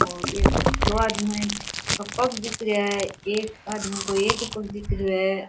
और एक दो आदमी का पग दिख रहा है एक आदमी कोई एक ही पग दिख रहा है।